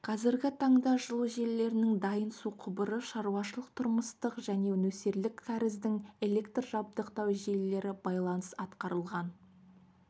қазіргі таңда жылу желілерінің дайын су құбыры шаруашылық-тұрмыстық және нөсерлік кәріздің электрмен жабдықтау желілері байланыс атқарылған